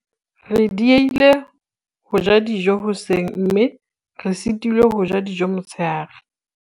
re diehile ho ja dijo hoseng mme re sitilwe ho ja dijo motshehare